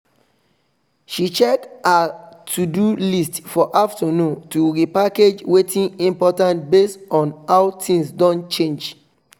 she check her to do list for afternoon to repackage watin important base on how things don change